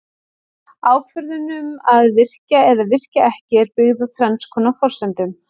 Ákvörðun um að virkja eða virkja ekki er byggð á þrenns konar forsendum.